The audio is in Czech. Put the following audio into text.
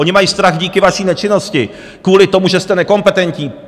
Oni mají strach díky vaší nečinnosti, kvůli tomu, že jste nekompetentní.